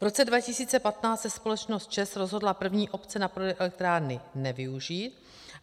V roce 2015 se společnost ČEZ rozhodla první opce na prodej elektrárny nevyužít.